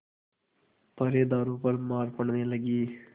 पहरेदारों पर मार पड़ने लगी